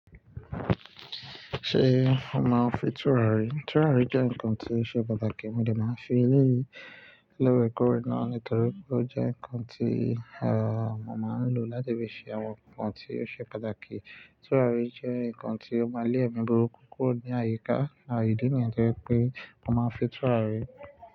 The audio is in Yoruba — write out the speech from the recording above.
Ṣé o màá fi tùràrí? Tùràrí jẹ́ ǹkan tí ó ṣe pàtàkì. Mo dẹ̀ máa fi elé yìí lóreekòre náà nítorí pé ó jẹ́ ǹkan tí, à, mo máa ń lò láti fi ṣe àwọn ǹkan tí ó ṣe pàtàkì. Tùràrí jẹ́ ǹkan tí ó máa lé èmi burúkú kúrò ní àyíká àti ìdí nìyẹn jẹ́ pé mo máa ń fi tùràrí.